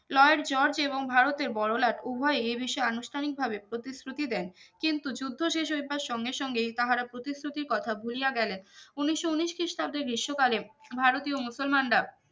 Lloyd George এবং ভারতের বড়ো লাট উভোই এই বিষয়ে আনুষ্ঠানিক প্রতিশ্রুতি দেন কিন্তু যুদ্ধ শেষ হইবার সঙ্গে সঙ্গেই তাহারা প্রতিশ্রুতি কোথা ভুলিয়া গেলেন উনিশশো উনিশ খ্রিস্টাব্দে গ্রীষ্ম কালে ভারতীয় মুসলমানরা